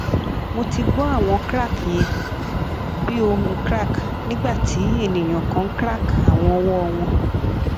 mo ti gbọ awọn crack yẹn bi ohun crack nigbati eniyan kan crack awọn ọwọ wọn